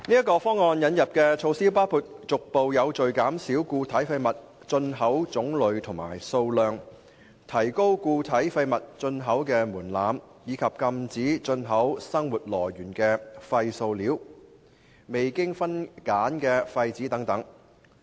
該方案引入的措施包括逐步有序減少固體廢物進口種類和數量、提高固體廢物進口門檻，以及禁止進口生活來源的廢塑料、未經分揀的廢紙等。